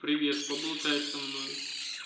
привет поболтай со мной